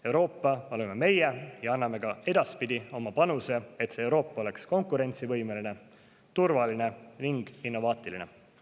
Euroopa oleme meie ja me anname ka edaspidi oma panuse, et Euroopa oleks konkurentsivõimeline, turvaline ning innovaatiline.